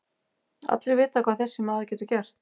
Allir vita hvað þessi maður getur gert.